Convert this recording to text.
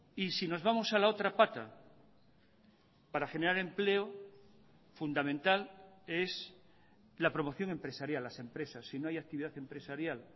y si nos vamos a la otra pata para generar empleo fundamental es la promoción empresarial las empresas si no hay actividad empresarial